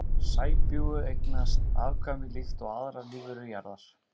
Sæbjúgu eignast afkvæmi líkt og aðrar lífverur jarðar.